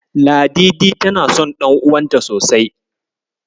Ladidi tana son ɗan'uwanta sosai.